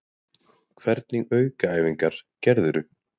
Hvernig aukaæfingar gerðirðu?